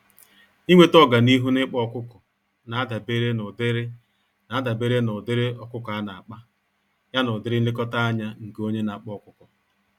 Ịnweta ọganihu n'ịkpa ọkụkọ, nadabere n'ụdịrị nadabere n'ụdịrị ọkụkọ ana-akpa, ya na ụdịrị nlekọta ányá nke onye n'akpa ọkụkọ.